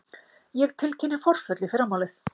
Ég tilkynni forföll í fyrramálið.